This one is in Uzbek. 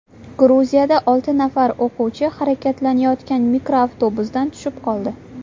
Gruziyada olti nafar o‘quvchi harakatlanayotgan mikroavtobusdan tushib qoldi.